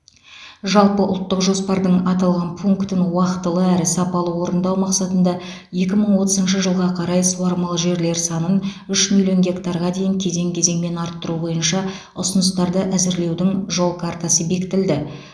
жалпыұлттық жоспардың аталған пунктін уақытылы әрі сапалы орындау мақсатында екі мың отызыншы жылға қарай суармалы жерлер санын үш миллион гектарға дейін кезең кезеңмен арттыру бойынша ұсыныстарды әзірлеудің жол картасы бекітілді